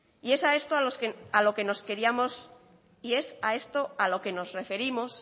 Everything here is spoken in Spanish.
y es a esto a lo que nos referimos